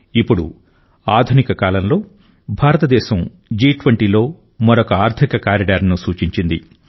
ఇప్పుడు ఆధునిక కాలంలో భారతదేశం జి20లో మరొక ఆర్థిక కారిడార్ను సూచించింది